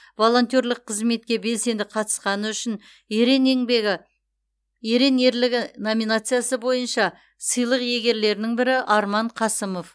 волонтерлік қызметке белсенді қатысқаны үшін ерең ерлігі номинациясы бойынша сыйлық иегерлерінің бірі арман қасымов